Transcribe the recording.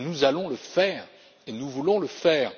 Nous allons le faire et nous voulons le faire.